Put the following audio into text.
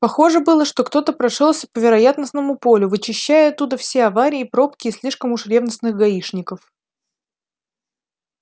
похоже было что кто-то прошёлся по вероятностному полю вычищая оттуда все аварии пробки и слишком уж ревностных гаишников